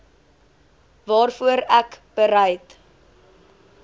waarvoor ek bereid